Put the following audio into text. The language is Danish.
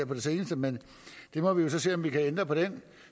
på det seneste men vi må jo så se om vi kan ændre på den